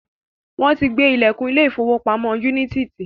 Wọ́n ti gbé ìlẹ̀kùn ilé ìfọwọ́pamo Unity ti.